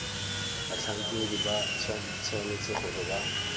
batlhankedi ba tshwanetse gore ba